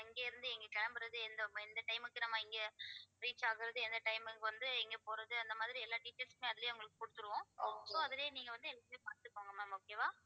எங்க இருந்து இங்க கிளம்பறது எந்த இந்த time க்கு நம்ம இங்க reach ஆகறது எந்த time க்கு வந்து இங்க போறது அந்த மாதிரி எல்லா details மே அதுலயே உங்களுக்கு குடுத்திடுவோம் so அதிலயே நீங்க வந்து எங்கன்னு பாத்துக்கோங்க ma'am okay வா